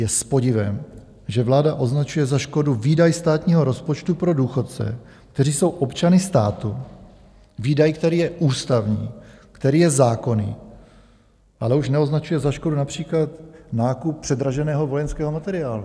Je s podivem, že vláda označuje za škodu výdaj státního rozpočtu pro důchodce, kteří jsou občany státu, výdaj, který je ústavní, který je zákonný, ale už neoznačuje za škodu například nákup předraženého vojenského materiálu.